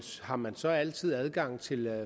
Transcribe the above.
har man så altid adgang til